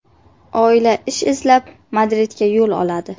Oila ish izlab, Madridga yo‘l oladi.